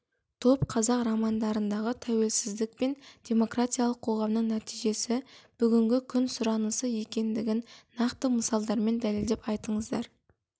топ қазақ романдардағы тәуелсіздік пен демократиялық қоғамның нәтижесі бүгінгі күн сұранысы екендігін нақты мысалдармен дәлелдеп айтыңыздар